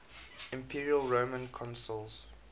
imperial roman consuls